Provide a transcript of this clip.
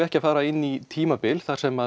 ekki að fara inn í tímabil þar sem